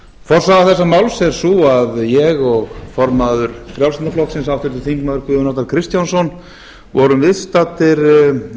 forsaga þessa máls er sú að ég og formaður frjálslynda flokksins háttvirtir þingmenn guðjón arnar kristjánsson vorum viðstaddir